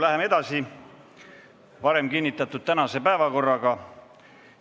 Läheme edasi varem kinnitatud tänase päevakorraga.